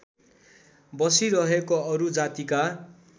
बसिरहेको अरू जातिका